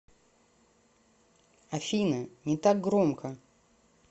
афина не так громко